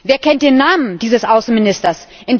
Wer kennt den Namen dieses Außenministers?